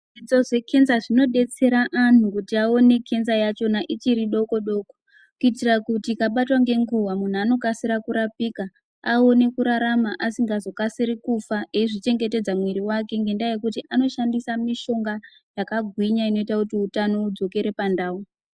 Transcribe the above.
Zvidzidzo zvecancer zvinodetsera anhu kuti aone cancer yachona ichiri doko doko kuitire Kuti ikabatwa ngenguwa munhu anokasira kurapika aone kurarama asingazokasiri kufa eizvichengetedza mwiri wake ngendaa yekuti anoshandisa mishonga yakagwinya inoita kuti utano hudzokere pandau.